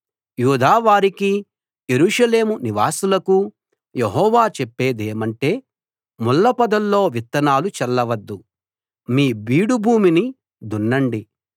యూదా వారికీ యెరూషలేము నివాసులకూ యెహోవా చెప్పేదేమంటే ముళ్ల పొదల్లో విత్తనాలు చల్లవద్దు మీ బీడు భూమిని దున్నండి